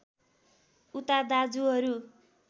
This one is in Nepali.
उता दाजुहरू